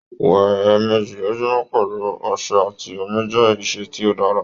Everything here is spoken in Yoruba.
Wẹ ẹẹmeji lojumọ pẹlu ọṣẹ ati omi jẹ iṣe ti o dara.